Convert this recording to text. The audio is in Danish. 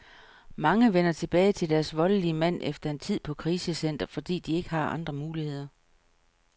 Mange vender tilbage til deres voldelige mand efter en tid på krisecenter, fordi de ikke har andre muligheder.